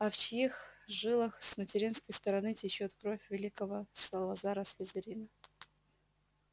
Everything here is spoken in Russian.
а в чьих жилах с материнской стороны течёт кровь великого салазара слизерина